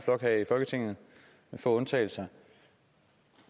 få undtagelser